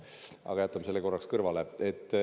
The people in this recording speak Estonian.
Aga jätame selle korraks kõrvale.